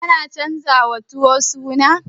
Ana canjawa tuwo suna ne?